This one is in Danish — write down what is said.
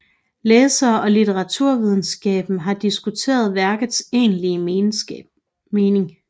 Læsere og litteraturvidenskaben har diskuteret værkets egentlige mening